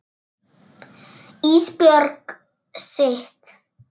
Ísbjörg sitt.